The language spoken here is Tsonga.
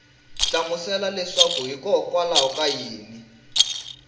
hlamusela leswaku hikokwalaho ka yini